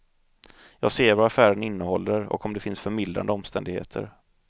Jag ser vad affären innehåller och om det finns förmildrande omständigheter.